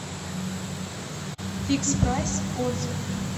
фикс прайс отзывы